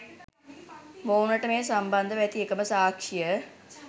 මොවුනට මේ සම්බන්ධව ඇති එකම සාක්ෂිය